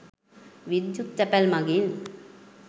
විද්‍යුත් තැපැල් මඟින්